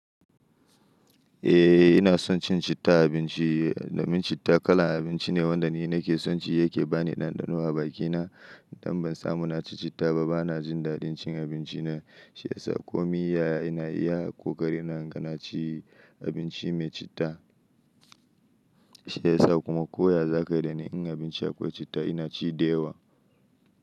Eh ina son cin citta abinci. Domin citta kalan abinci ne wanda ni nake son ci yake ba ni ɗanɗano a bakina. Idan ban samu na ci citta ba bana jin daɗin cin abinci na. Shi yasa komai yaya ina iya kokari na, gan na ci abinci mai citta. Shi yasa kuma koya zakai da ni in abinci akwai citta ina ci da yawa.